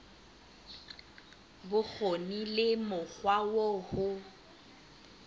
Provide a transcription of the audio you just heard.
bokgoni le mokgwa oo ho